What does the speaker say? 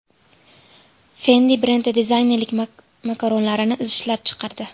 Fendi brendi dizaynerlik makaronlarini ishlab chiqardi.